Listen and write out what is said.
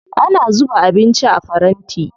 Ana zuba abinci a faranti.